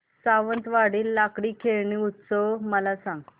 सावंतवाडी लाकडी खेळणी उत्सव मला सांग